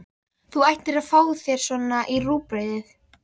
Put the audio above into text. Þú ættir að fá þér svona í rúgbrauðið!